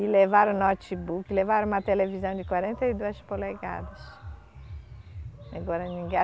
E levaram notebook, levaram uma televisão de quarenta e duas polegadas.